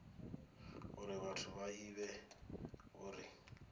uri vhathu vha ivhe uri